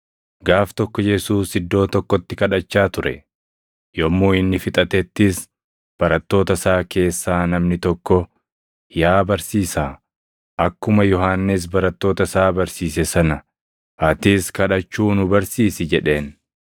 Gaaf tokko Yesuus iddoo tokkotti kadhachaa ture; yommuu inni fixatettis, barattoota isaa keessaa namni tokko, “Yaa Barsiisaa, akkuma Yohannis barattoota isaa barsiise sana, atis kadhachuu nu barsiisi” jedheen.